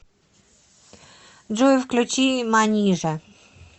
джой включи манижа